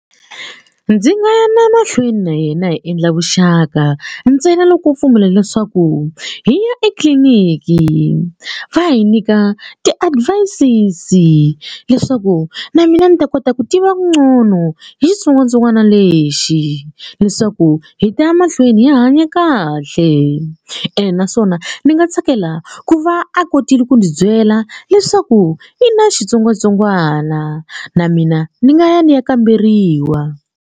Ndzi nga ya na mahlweni na yena hi endla vuxaka ntsena loko o pfumela leswaku hi ya etliliniki va hi nyika ti-advices leswaku na mina ni ta kota ku tiva ncono hi xitsongwatsongwana lexi leswaku hi ta ya mahlweni hi hanya kahle ene naswona ndzi nga tsakela ku va a kotile ku ndzi byela leswaku i na xitsongwatsongwana na mina ni nga ya ni ya kamberiwa.